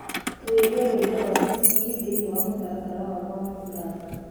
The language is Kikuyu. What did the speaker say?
tuuria rwĩmbo rwa siskii thĩĩni wa mũtaratara wakwa wa guthaka